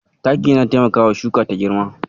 Taki yana taimakawa shuka ta girma.